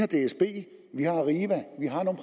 dsb